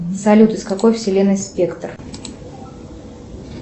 салют из какой вселенной спектр